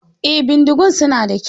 Eh, bindigun su na da kyau.